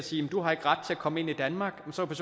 siger du har ikke ret til at komme ind i danmark så vil